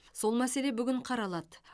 сол мәселе бүгін қаралады